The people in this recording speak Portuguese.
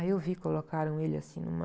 Aí, eu vi, colocaram ele, assim, numa...